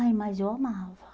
Ai, mas eu amava.